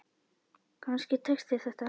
Kannski tekst þér þetta.